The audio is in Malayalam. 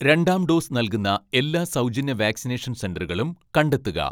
രണ്ടാം ഡോസ് നൽകുന്ന എല്ലാ സൗജന്യ വാക്സിനേഷൻ സെന്ററുകളും കണ്ടെത്തുക